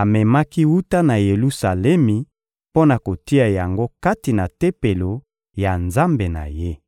amemaki wuta na Yelusalemi mpo na kotia yango kati na tempelo ya nzambe na ye.